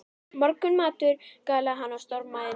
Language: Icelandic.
Morgunmatur galaði hann og stormaði inn.